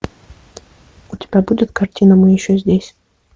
у тебя будет картина мы еще здесь